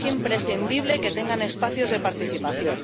Es imprescindible que tengan espacios de participación.